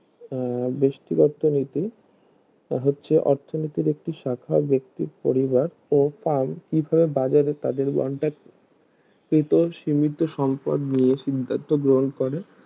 আহ বেস্টিক অর্থনীতি তা হচ্ছে অর্থনীতির একটি শাখা বেক্তির পরিবার ও ফ্রাম কিভাবে বাজারে তাদের বণ্টাকৃত সীমিত সম্পদ নিয়ে চিন্তাও গ্রহণ করে